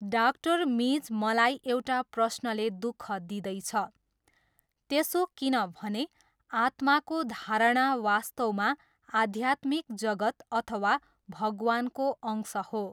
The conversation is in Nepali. डाक्टर मिज मलाई एउटा प्रश्नले दुख दिँदैछ। त्यसो किन भने आत्माको धारणा वास्तवमा आद्यात्मिक जगत् अथवा भगवानको अंश हो।